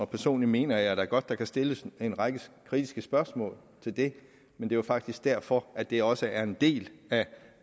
personlig mener jeg da godt at der kan stilles en række kritiske spørgsmål til det men det var faktisk derfor at det også er en del af